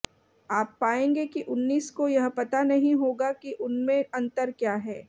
आप पाएंगे कि उन्नीस को यह पता नहीं होगा कि उनमें अंतर क्या है